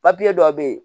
dɔw bɛ yen